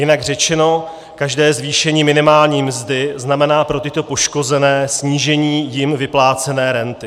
Jinak řečeno, každé zvýšení minimální mzdy znamená pro tyto poškozené snížení jim vyplácené renty.